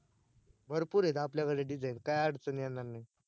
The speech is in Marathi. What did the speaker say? भरपूर आहेत आपल्या कडे design काय अडचण येणार नाही